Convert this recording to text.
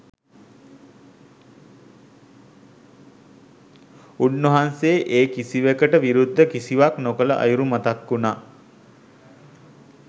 උන්වහන්සේ ඒ කිසිවකට විරුද්ධව කිසිවක් නොකළ අයුරු මතක් වුනා.